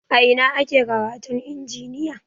A ina ake karatun injiniya?